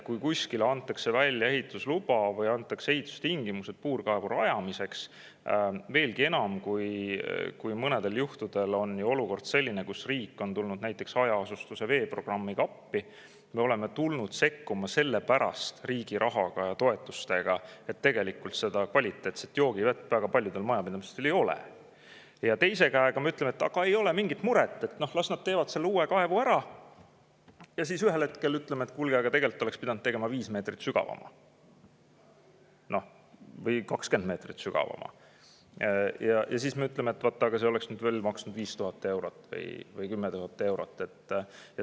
Kui kuskil antakse välja ehitusluba või ehitustingimused puurkaevu rajamiseks – ja veelgi enam, mõnedel juhtudel on selline olukord, kus riik on tulnud näiteks hajaasustuse veeprogrammiga appi, me oleme riigi raha ja toetustega sekkunud, sest väga paljudel majapidamistel kvaliteetset joogivett ei ole –, siis me ei saa samal ajal öelda: "Oh, ei ole mingit muret, las nad teevad selle uue kaevu ära," aga hiljem ühel hetkel teatada: "Kuulge, aga tegelikult oleks pidanud tegema 5 meetrit sügavama või 20 meetrit sügavama, aga see oleks maksnud veel 5000 eurot või 10 000 eurot.